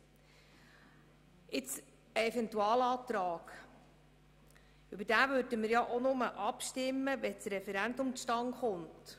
Über einen Eventualantrag würden wir nur abstimmen, wenn das Referendum zustande käme.